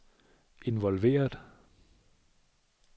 involveret